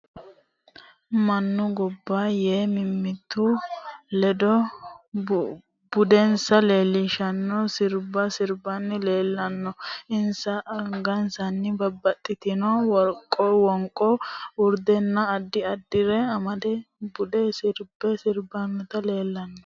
Mannu ganba yee mimitu ledo budensa leelishanno sirbba sirbanni leelanno insa angasanni babbitinno wonqo, urdenna addi addire amade budu sirba sirbanni leelanno